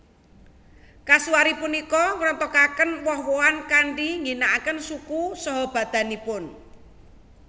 Kasuari punika ngrontokaken woh wohan kanthi ngginakaken suku saha badanipun